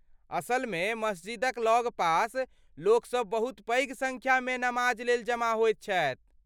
असलमे, मस्जिदक लगपास लोकसभ बहुत पैघ सङ्ख्यामे नमाजलेल जमा होइत छथि।